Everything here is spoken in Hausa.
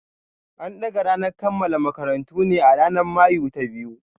An dagga ranar kammala karatun ne a ranar Mayu ta biyu.